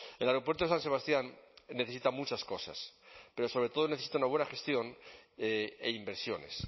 el aeropuerto de san sebastián necesita muchas cosas pero sobre todo necesita una buena gestión e inversiones